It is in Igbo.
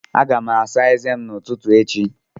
Aga m asa eze m n'ụtụtụ echi.